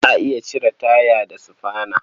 Za a iya cire taya da sufana.